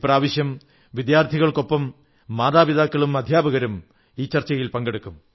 ഇപ്രാവശ്യം വിദ്യാർഥികൾക്കൊപ്പം മാതാപിതാക്കളും അധ്യാപകരും ചർച്ചയിൽ പങ്കെടുക്കും